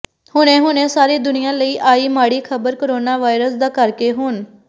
ਹੁਣੇ ਹੁਣੇ ਸਾਰੀ ਦੁਨੀਆਂ ਲਈ ਆਈ ਮਾੜੀ ਖਬਰ ਕਰੋਨਾ ਵਾਇਰਸ ਦਾ ਕਰਕੇ ਹੁਣ